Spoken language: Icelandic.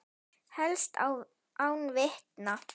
Helst án vitna.